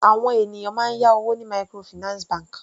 Àwọn ènìyàn máa ń yá owó ní microfinance bank.